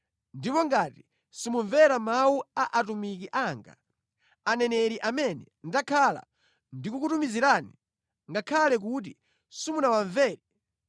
ndipo ngati simumvera mawu a atumiki anga, aneneri amene ndakhala ndikukutumizirani, ngakhale kuti simunawamvere,